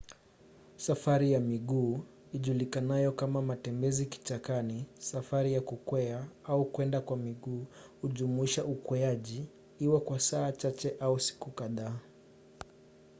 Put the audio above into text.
safari ya miguu ijulikanayo kama matembezi kichakani safari ya kukwea au kwenda kwa miguu hujumuisha ukweaji iwe kwa saa chache au siku kadhaa